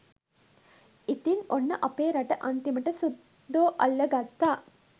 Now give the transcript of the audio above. ඉතින් ඔන්න අපේ රට අන්තිමට සුද්දෝ අල්ල ගත්තා